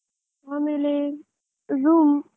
ಆಮೇಲೆ, Zoom .